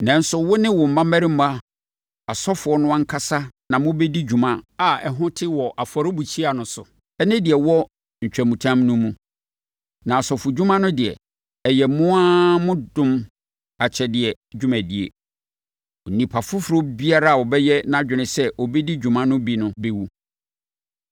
Nanso, wo ne wo mmammarima asɔfoɔ no ankasa na mobɛdi dwuma a ɛho te wɔ afɔrebukyia no so ne deɛ ɛwɔ ntwamutam no mu, na asɔfodwuma no deɛ, ɛyɛ mo ara mo dom akyɛdeɛ dwumadie. Onipa foforɔ biara a ɔbɛyɛ nʼadwene sɛ ɔbɛdi dwuma no bi no bɛwu.”